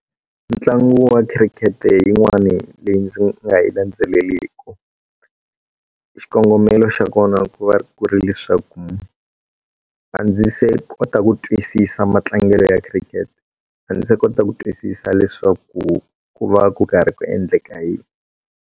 Ntlangu wa cricket yin'wani leyi ndzi nga yi landzeliliku xikongomelo xa kona ku va ku ri leswaku a ndzi se kota ku twisisa matlangelo ya cricket a ndzi se kota ku twisisa leswaku ku va ku karhi ku endleka yini.